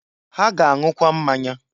Ha ga-anwụkwa mmanya.